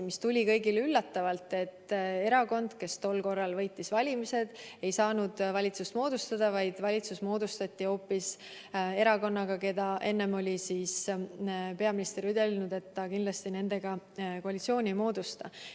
Tuli kõigile üllatusena, et erakond, kes tol korral võitis valimised, ei saanud valitsust moodustada, vaid valitsus moodustati hoopis erakonnaga, kelle kohta peaminister oli enne ütelnud, et nendega ta kindlasti koalitsiooni ei moodusta.